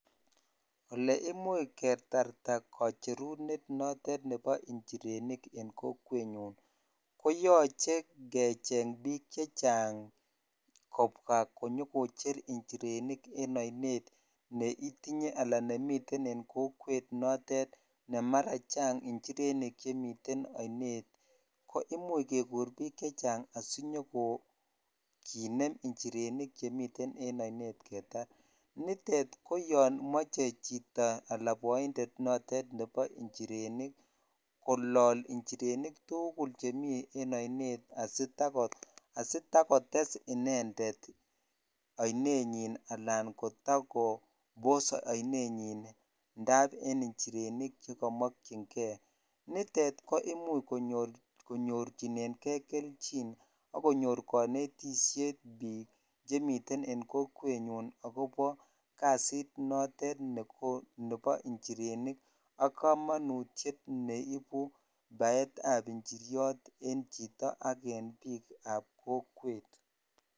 Ole imuch ketarta kocherunet notet nebo njirenik en kokwetnyun koyoche kecheng bik kobwa konyokoche njirenik en ainet neitinye ala nemiten en kokonin notet ne mara chang njirenik chemiten ainet ko imuch kekur bik chechang asinyokicher njirenik chemiten en ainet ketar nitet koyon moche chito ala boinded nebo njirenik kolol njirenik tukul chemi en ainet asitakotes inended ala kotakobos ainenyen ala kotakobos ainenyin indap en njirenik chekimokyin keinitet komuch konyorchinen kei kelchin ak konetkeo boishet bik chemiten en kokwenyun akobo kasit notet nebo njirenik ak komonutyet neibu baetab njiryot en chito ak en bik ab kokwet.